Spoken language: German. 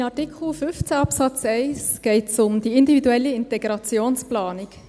In Artikel 15 Absatz 1 geht es um die individuelle Integrationsplanung.